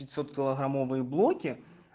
пятьсот килограммовые блоки